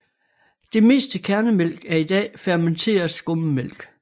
Det meste kærnemælk er i dag fermenteret skummetmælk